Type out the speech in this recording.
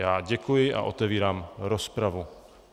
Já děkuji a otevírám rozpravu.